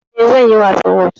Eh, zanyi wasan whot